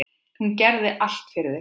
Hún gerði allt fyrir þig.